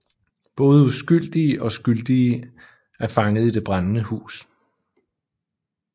Både uskyldige og skyldige er fanget i det brændende hus